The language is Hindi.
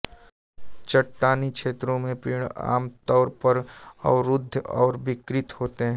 चट्टानी क्षेत्रों में पेड़ आमतौर पर अवरुद्ध और विकृत होते हैं